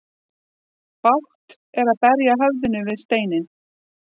Bágt er að berja höfðinu við steinninn.